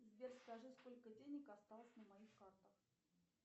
сбер скажи сколько денег осталось на моих картах